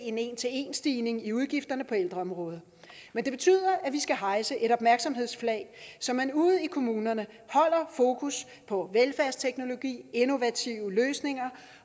en 11 stigning i udgifterne på ældreområdet men det betyder at vi skal hejse et opmærksomhedsflag så man ude i kommunerne holder fokus på velfærdsteknologi innovative løsninger